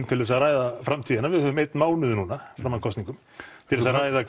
til þess að ræða framtíðina við höfum einn mánuð núna fram að kosningum til þess að ræða